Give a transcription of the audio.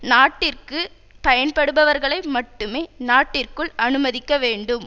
நாட்டிற்கு பயன்படுபவர்களை மட்டுமே நாட்டிற்குள் அனுமதிக்க வேண்டும்